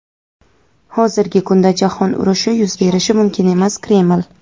Hozirgi kunda Jahon urushi yuz berishi mumkin emas — Kreml.